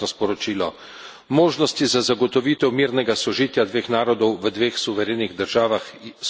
Možnosti za zagotovitev mirnega sožitja dveh narodov, v dveh suverenih državah so čedalje manjše.